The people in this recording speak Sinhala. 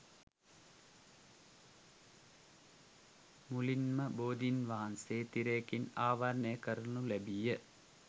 මුලින්ම බෝධීන් වහන්සේ තිරයකින් ආවරණය කරනු ලැබීය.